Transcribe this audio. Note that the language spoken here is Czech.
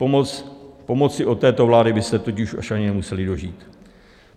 Pomoci od této vlády by se totiž už ani nemuseli dožít.